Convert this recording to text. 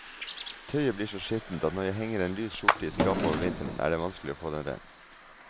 Tøyet blir så skittent at når jeg henger en lys skjorte i skapet over vinteren, er det vanskelig å få den ren.